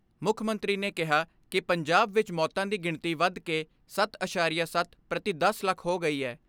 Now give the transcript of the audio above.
ਮੁੱਖ ਮੰਤਰੀ ਨੇ ਕਿਹਾ ਕਿ ਪੰਜਾਬ ਵਿਚ ਮੌਤਾਂ ਦੀ ਗਿਣਤੀ ਵੱਧ ਕੇ ਸੱਤ ਅਸਾਰੀਆ ਸੱਤ ਪ੍ਰਤੀ ਦਸ ਲੱਖ ਹੋ ਗਈ ਐ।